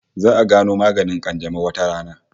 Za'a gano maganin kanjamau wata rana